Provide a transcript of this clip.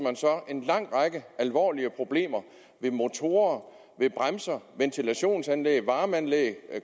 en lang række alvorlige problemer ved motorer bremser ventilationsanlæg varmeanlæg